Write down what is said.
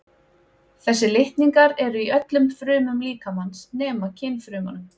Þessir litningar eru í öllum frumum líkamans nema kynfrumunum.